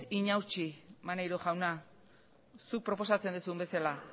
inausi maneiro jauna zuk proposatzen duzun bezala